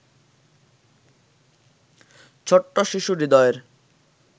ছোট্ট শিশু হৃদয়ের